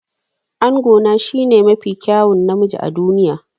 Angona shine mafi kyawun namiji a duniya.